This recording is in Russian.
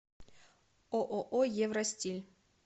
ооо евростиль